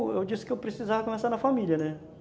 Aí eu disse que eu precisava conversar na família, né?